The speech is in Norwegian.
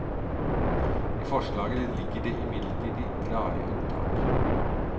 I forslaget ligger det imidlertid klare unntak.